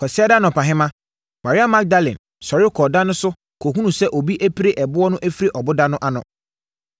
Kwasiada anɔpahema, Maria Magdalene sɔre kɔɔ da no so kɔhunuu sɛ obi apire ɛboɔ no afiri ɔboda no ano.